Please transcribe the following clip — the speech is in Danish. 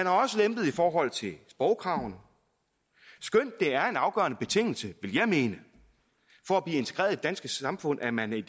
er også lempet i forhold til sprogkravene skønt det er en afgørende betingelse vil jeg mene for at blive integreret i det danske samfund at man i